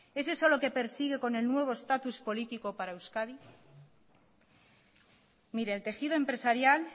es eso lo que persigue con el nuevo estatus político para euskadi mire el tejido empresarial